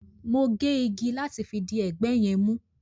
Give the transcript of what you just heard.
Mo gé igi láti fi di ẹgbẹ́ yẹn mú